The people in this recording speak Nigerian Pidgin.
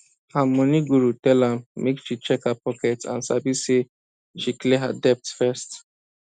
her money guru tell am make she check her pocket and sabi say make she clear her debt first